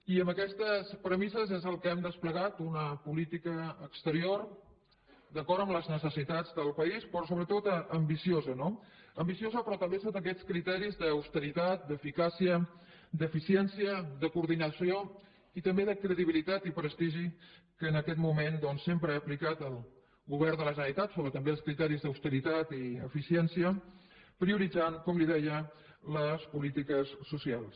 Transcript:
i és amb aquestes premisses que hem desplegat una política exterior d’acord amb les necessitats del país però sobretot ambiciosa no ambiciosa però també sota aquests criteris d’austeritat d’eficàcia d’eficiència de coordinació i també de credibilitat i prestigi que en aquest moment doncs sempre ha aplicat el govern de la generalitat sobre també els criteris d’austeritat i d’eficiència prioritzant com li deia les polítiques socials